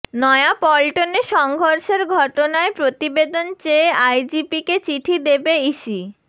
নয়াপল্টনে সংঘর্ষের ঘটনায় প্রতিবেদন চেয়ে আইজিপিকে চিঠি দেবে ইসি